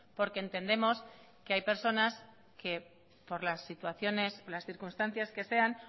porque entendemos que hay personas que por las situaciones las circunstancias que sean